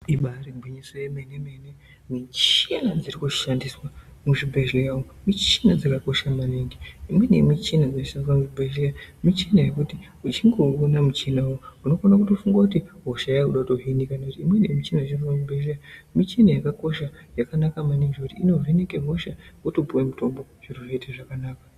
Ibaari gwinyiso remene mene michina dziri kushandiswa muzvibhedhlera umo michina dzakakosha maningi. Imweni yemichina inoshandiswa muchibhedhlera michina yekuti uchingouona muchinawo unokona kutofunga kuti hosha yakuda kutohinika. Michina inooneke muzvibhedhlera michina yakakosha yakanaka maningi nekuti inoveneke hosha wotopuwe mutombo zviro zvoite zvakanaka.